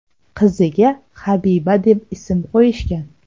Qiziga Habiba deb ism qo‘yishgan.